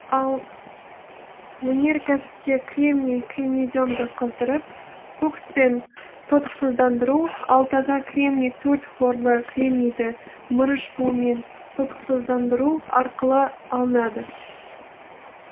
ал өнеркәсіпте кремний кремнеземді қыздырып кокспен тотықсыздандыру ал таза кремний төрт хлорлы кремнийді мырыш буымен тотықсыздандыру арқылы алынады